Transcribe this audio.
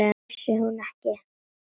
Vissi hún ekki!